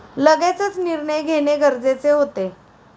लगेचच निर्णय घेणे गरजेचे होते.